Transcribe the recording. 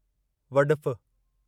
वॾिफ